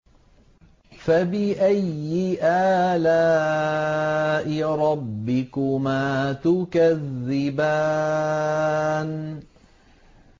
فَبِأَيِّ آلَاءِ رَبِّكُمَا تُكَذِّبَانِ